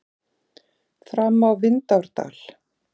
Fram á Vindárdal.